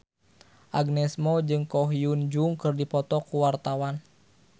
Agnes Mo jeung Ko Hyun Jung keur dipoto ku wartawan